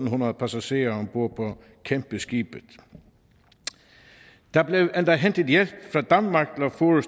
hundrede passagerer om bord på kæmpeskibet der blev endda hentet hjælp